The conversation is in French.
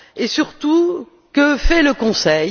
Et surtout, que fait le Conseil?